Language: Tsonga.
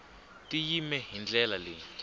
ti yime hi ndlela leyi